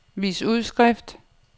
vis udskrift